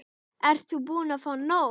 Ert þú búin að fá nóg?